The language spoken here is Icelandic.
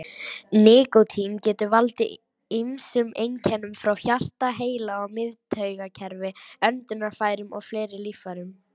Nikótín getur valdið ýmsum einkennum frá hjarta, heila- og miðtaugakerfi, öndunarfærum og fleiri líffærum.